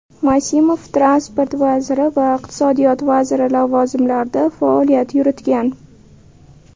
Masimov Transport vaziri va iqtisodiyot vaziri lavozimlarida faoliyat yuritgan.